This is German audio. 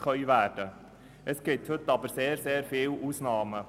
Allerdings gibt es heute sehr viele Ausnahmen.